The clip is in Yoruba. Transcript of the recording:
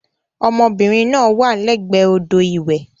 Ọmọbìnrin náà wà lẹ́gbẹ̀ẹ́ odò ìwẹ̀.